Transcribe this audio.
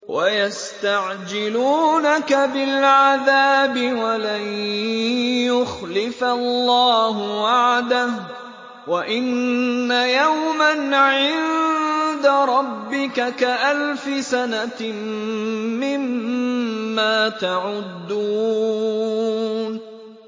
وَيَسْتَعْجِلُونَكَ بِالْعَذَابِ وَلَن يُخْلِفَ اللَّهُ وَعْدَهُ ۚ وَإِنَّ يَوْمًا عِندَ رَبِّكَ كَأَلْفِ سَنَةٍ مِّمَّا تَعُدُّونَ